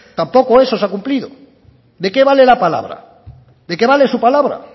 tampoco eso se ha cumplido de qué vale la palabra de qué vale su palabra